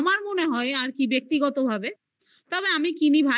আমার মনে হয় আর কি ব্যাক্তিগত ভাবে তবে আমি কিনি ভাই